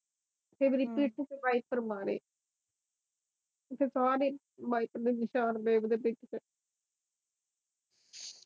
ਫਿਰ ਮੇਰੀ ਪਿੱਠ ਤੇ ਵਾਈਪਰ ਮਾਰੇ ਫਿਰ ਸਾਰੇ ਵਾਈਪਰ ਦੇ ਨਿਸ਼ਾਨ ਮੇਰੀ ਪਿੱਠ ਤੇ